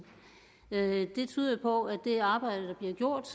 det tyder jo på at det arbejde der bliver gjort